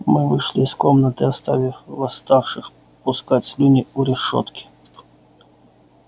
мы вышли из комнаты оставив восставших пускать слюни у решётки